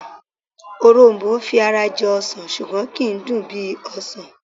Òrom̀bó fi ara jọ ọsàn ṣùgbọ́n kì í dùn bí ọsàn